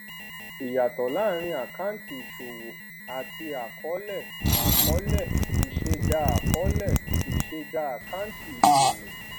ìyàtọ láàárín àkáǹtì ìṣòwò àti àkọọlẹ àkọọlẹ ìṣẹdá àkọọlẹ ìṣẹdá àkáǹtì ìṣòwò